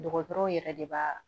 Dɔgɔtɔrɔw yɛrɛ de b'a